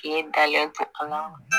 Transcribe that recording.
K'e dalen to a la